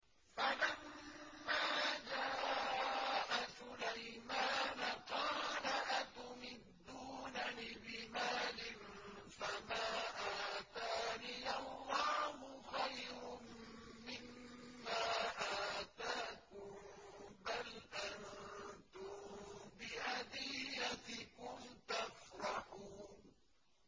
فَلَمَّا جَاءَ سُلَيْمَانَ قَالَ أَتُمِدُّونَنِ بِمَالٍ فَمَا آتَانِيَ اللَّهُ خَيْرٌ مِّمَّا آتَاكُم بَلْ أَنتُم بِهَدِيَّتِكُمْ تَفْرَحُونَ